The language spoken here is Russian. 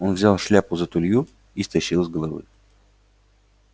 он взял шляпу за тулью и стащил с головы